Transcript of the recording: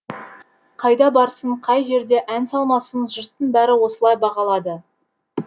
қайда барсын қай жерде ән салмасын жұрттың бәрі осылай бағалады